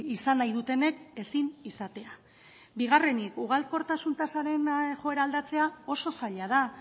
izan nahi dutenek ezin izatea bigarrenik ugalkortasun tasaren joera aldatzea oso zaila da